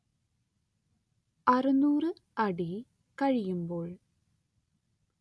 അറുനൂറ് അടി കഴിയുമ്പോൾ